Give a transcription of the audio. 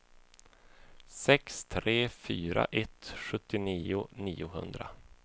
sex tre fyra ett sjuttionio niohundra